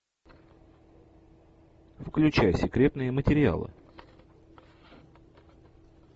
включай секретные материалы